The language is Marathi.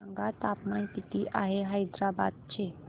सांगा तापमान किती आहे हैदराबाद चे